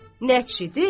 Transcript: Nəçidir?